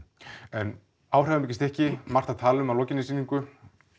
en áhrifamikið stykki mikið að tala um að lokinni sýningu